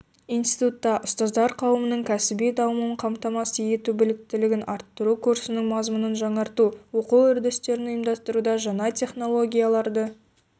институтта ұстаздар қауымының кәсіби дамуын қамтамасыз ету біліктілігін арттыру курсының мазмұнын жаңарту оқу үдерістерін ұйымдастыруда жаңа технологияларды